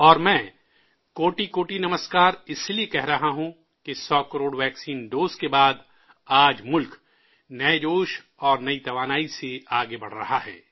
اور میں 'کوٹی کوٹی نمسکار' اس لیے بھی کہہ رہا ہوں کہ 100 کروڑ ویکسین ڈوز کے بعد آج ملک نئے جوش، نئی توانائی سے آگے بڑھ رہا ہے